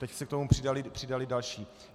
Teď se k tomu přidali další.